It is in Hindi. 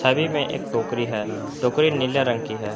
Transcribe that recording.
धरी में एक टोकरी है टोकरी नीला रंग की है।